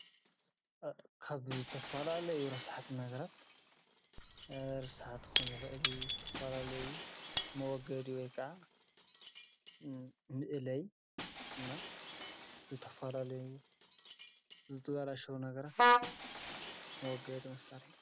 ካብ ዝተፋላለዩ ረሳሓት ነገራ ርስሓት ክኾኒ ይኽእል እዩ። ዝተፋላለዩ መወገዲ ወይ ካዓ ምእለይ ናይ ዝተፋላለዩ ዘትዋላሸዉ ነገራት መወገድ መሣርሕ።